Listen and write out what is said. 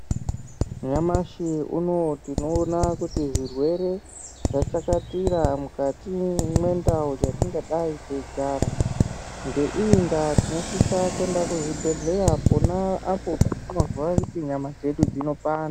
Nyamashi unou tinoona kuti zvirwere zvachakatira mukati mwendau dzatingadai teigara ngeiyi ndaa tinosisa kuenda kuzvibhedhleya pona apo patinozwa kuti nyama dzedu dzinopanda.